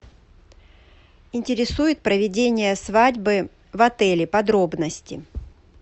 интересует проведение свадьбы в отеле подробности